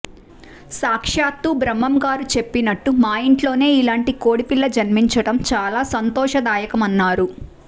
సాక్షాత్తు బ్రహ్మం గారు చెప్పినట్టు మా ఇంట్లోనే ఇలాంటి కోడిపిల్ల జన్మించడం చాలా సంతోషదాయకమన్నారు